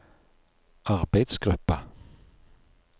arbeidsgruppa